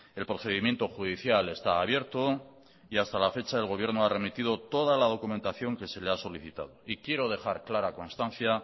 el procedimiento judicial está abierto y hasta la fecha el gobierno ha remitido toda la documentación que se le ha solicitado y quiero dejar clara constancia